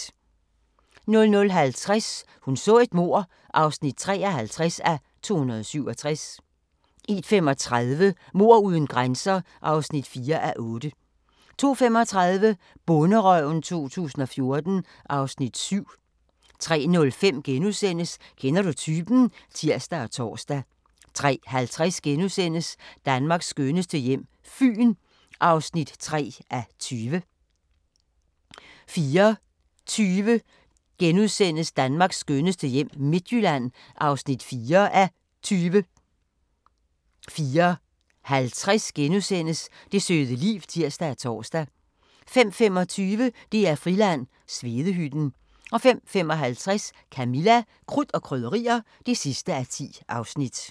00:50: Hun så et mord (53:267) 01:35: Mord uden grænser (4:8) 02:35: Bonderøven 2014 (Afs. 7) 03:05: Kender du typen? *(tir og tor) 03:50: Danmarks skønneste hjem – Fyn (3:20)* 04:20: Danmarks skønneste hjem - Midtjylland (4:20)* 04:50: Det søde liv *(tir og tor) 05:25: DR-Friland: Svedehytten 05:55: Camilla – Krudt og Krydderier (10:10)